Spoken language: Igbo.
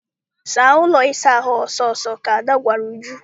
Saa ụlọ ịsa ahụ a ọsọ ọsọ! ka Ada gwara uju.